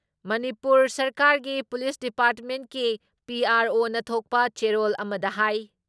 ꯃꯅꯤꯄꯨꯔ ꯁꯔꯀꯥꯔꯒꯤ ꯄꯨꯂꯤꯁ ꯗꯤꯄꯥꯔꯠꯃꯦꯟꯠꯀꯤ ꯄꯤ.ꯑꯥꯔ.ꯑꯣꯅ ꯊꯣꯛꯄ ꯆꯦꯔꯣꯜ ꯑꯃꯗ ꯍꯥꯏ